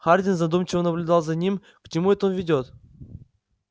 хардин задумчиво наблюдал за ним к чему это он ведёт